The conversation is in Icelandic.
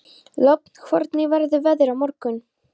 Lofn, hvernig verður veðrið á morgun?